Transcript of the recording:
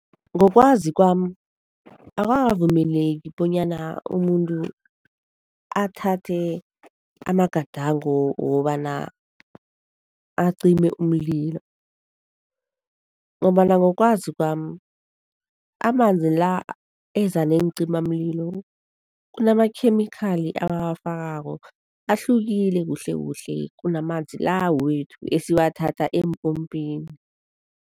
Ngokwazi kwami, akukavumeleki bonyana umuntu athathe amagadango wokobana acime umlilo ngombana ngokwazi kwami, amanzi la eza neencimamlilo kunamakhemikhali abawafakako, ahlukile kuhlekuhle kunamanzi la wethu esiwathatha empompini.